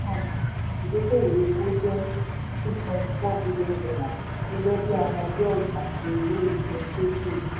ìdókòwó epo jẹ́ six point four billion dollar gẹ́gẹ́ bí ara belt àti road initiative.